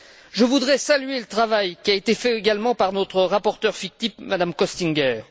Je voudrais saluer le travail qui a été fait également par notre rapporteure fictive, Mme Köstinger.